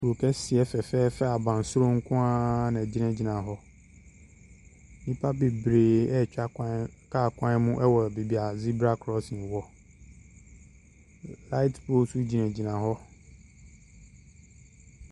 Kuro kɛseɛ fɛfɛɛfɛ abansoro nkoa na gyina gyina hɔ nipa bebree ɛtwa kar kwan mu ɔwɔ beaeɛ zebra krɔsin hɔ light pole nso gyina gyina hɔ.